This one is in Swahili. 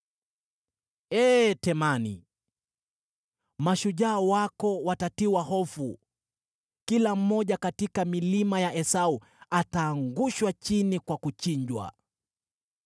Ee Temani, mashujaa wako watatiwa hofu, kila mmoja katika milima ya Esau ataangushwa chini kwa kuchinjwa.